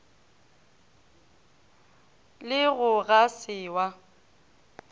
le go ga se wa